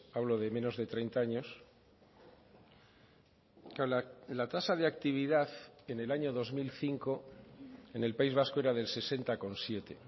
hablo de menos de treinta años la tasa de actividad en el año dos mil cinco en el país vasco era del sesenta coma siete